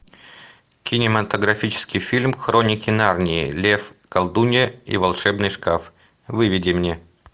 кинематографический фильм хроники нарнии лев колдунья и волшебный шкаф выведи мне